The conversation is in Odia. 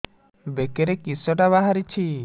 ବେକରେ କିଶଟା ବାହାରିଛି